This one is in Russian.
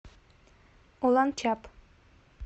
уланчаб